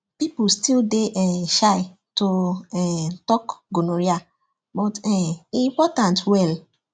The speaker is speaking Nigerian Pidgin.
people still dey um shy to um talk gonorrhea but um e important well